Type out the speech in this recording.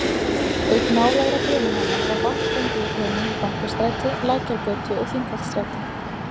Auk nálægra brunahana var vatn fengið úr hönum í Bankastræti, Lækjargötu og Þingholtsstræti.